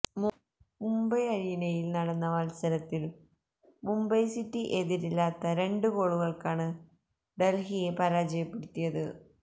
മുംബൈ അരീനയിൽ നടന്ന മത്സരത്തിൽ മുംബൈ സിറ്റി എതിരില്ലാത്ത രണ്ട് ഗോളുകൾക്കാണ് ഡൽഹിയെ പരാജയപ്പെടുത്തിയത്